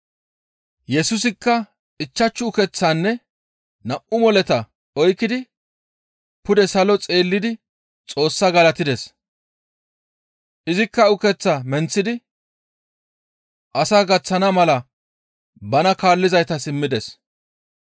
Yesusikka ichchashu ukeththaanne nam7u moleta oykki pude salo xeellidi Xoossaa galatides; izikka ukeththaa menththidi asaa gaththana mala bana kaallizaytas immides.